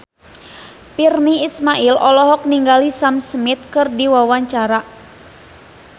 Virnie Ismail olohok ningali Sam Smith keur diwawancara